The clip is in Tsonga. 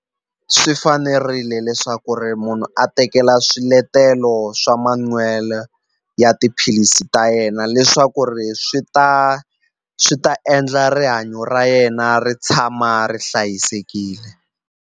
Swi fanerile leswaku ri munhu a tekela swiletelo swa manwelo ya tiphilisi ta yena leswaku ri swi ta swi ta endla rihanyo ra yena ri tshama ri hlayisekile.